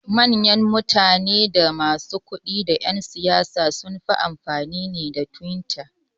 Mayan mutane da masu kudi da yan siyasa sunfi amfani da twitter